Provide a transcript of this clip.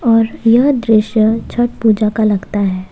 और यह दृश्य छठ पूजा का लगता है।